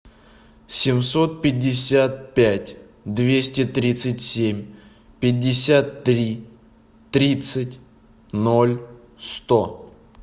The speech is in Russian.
семьсот пятьдесят пять двести тридцать семь пятьдесят три тридцать ноль сто